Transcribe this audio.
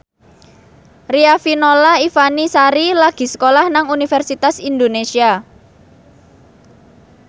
Riafinola Ifani Sari lagi sekolah nang Universitas Indonesia